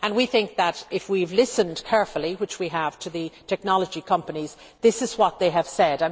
We think that, if we have listened carefully which we have to the technology companies, this is what they have said.